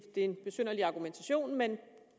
en besynderlig argumentation men